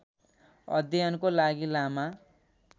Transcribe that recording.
अध्ययनको लागि लामा